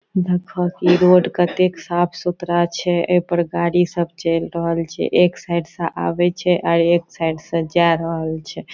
देख क ई रोड कतेक साफ-सुथरा छै | ए पर गाड़ी सब चेल रहल छै | एक साइड से आवे छै अ एक साइड से जाय रहल छै ।